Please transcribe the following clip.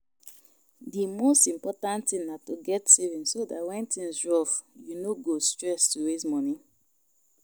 Di most important thing na to get savings so dat when things rough you no go stress to raise moni